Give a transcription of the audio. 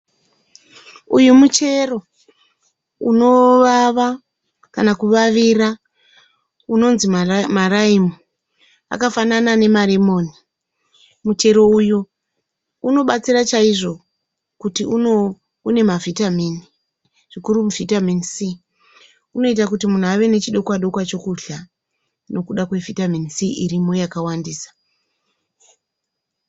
Uyu muchero unovava kana kuvavira unonzi maraimu. Akafanana nemaremoni. Muchero uyu unobatsira chaizvo kuti une mavitamin zvikuru Vitamin C unoita kuti munhu ave nechidokwa dokwa chokuda kudya nokuda kweVitamin C irimo yakawandisa.